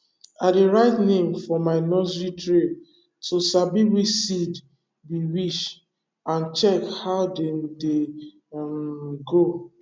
i dey write name for my nursery tray to sabi which seed be which and check how dem dey um grow